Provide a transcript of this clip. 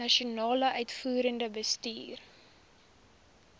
nasionale uitvoerende bestuur